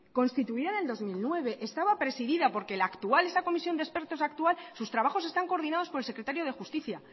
constituida en el dos mil nueve estaba presidida porque la actual esa comisión de expertos actual sus trabajos están coordinados por el secretario de justicia